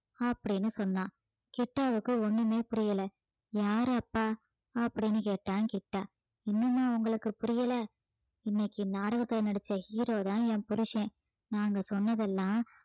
அப்படீன்னு சொன்னா கிட்டாவுக்கு ஒண்ணுமே புரியல யாரு அப்பா அப்படீன்னு கேட்டான் கிட்டா இன்னுமா உங்களுக்கு புரியல இன்னைக்கு நாடகத்துல நடிச்ச hero தான் என் புருசன் நாங்க சொன்னதெல்லாம்